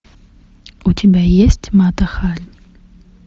у тебя есть мата хари